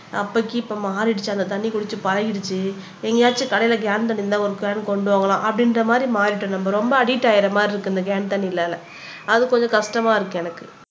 அப்பைக்கு இன்னைக்கு மாறிடுச்சு அந்த தண்ணி குடிச்சு பழகிடுச்சு எங்கயாச்சும் கடையில கேன் தண்ணி இருந்தா ஒரு கேன் கொண்டு வாங்க அப்படின்ற மாறிட்டோம் நம்ம ரொம்ப அடிக்ட் ஆன மாதிரி இருக்கு இந்த கேன் தண்ணினால அது கொஞ்சம் கஷ்டமா இருக்கு எனக்கு